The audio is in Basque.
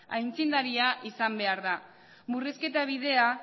aintzindaria izan behar da murrizketa bidea